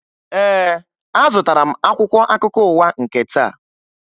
Ee, azụtara m akwụkwọ akụkọ ụwa nke taa